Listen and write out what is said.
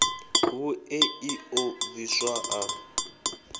vhuṋe ḽi ḓo bviswa ḽa